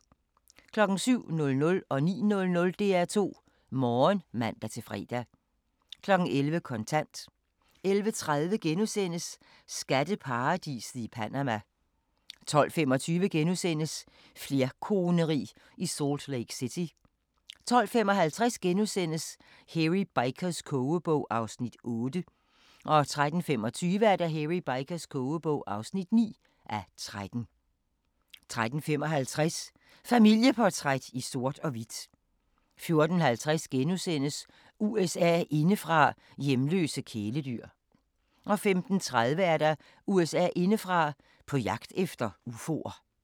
07:00: DR2 Morgen (man-fre) 09:00: DR2 Morgen (man-fre) 11:00: Kontant 11:30: Skatteparadiset i Panama * 12:25: Flerkoneri i Salt Lake City * 12:55: Hairy Bikers kogebog (8:13)* 13:25: Hairy Bikers kogebog (9:13) 13:55: Familieportræt i sort og hvidt 14:50: USA indefra: Hjemløse kæledyr * 15:30: USA indefra: På jagt efter ufoer